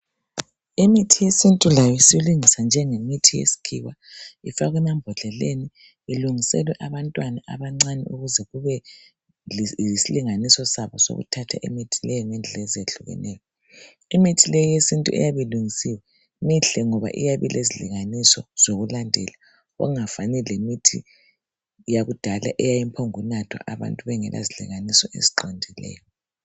Imithi yesintu layo isilungiswa njengemithi yesikhiwa ifakwe emambodleleni ilungiselwe abantwana abancane ukuze kube yisilinganiso sabo sokuthatha imithi leyo ngendlela ezehlukeneyo. Imithi le yesintu eyabe ilungisiwe mihle ngoba iyabe ilezilinganiso zokulandela okungafani leyakudala eyayiphongunathwa kungela zilinganiso eziqondileyo.